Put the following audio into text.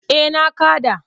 Eh na kaɗa.